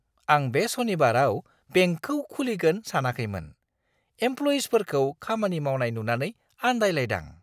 आं बे सनिबाराव बेंकखौ खुलिगोन सानाखैमोन। एमप्ल'इयिफोरखौ खामानि मावनाय नुनानै आन्दायलायदां।